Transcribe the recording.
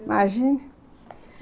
Imagina!